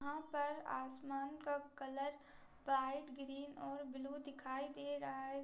यहा पर आसमान का कलर वाइट ग्रीन और ब्लू दिखाई दे रहा है।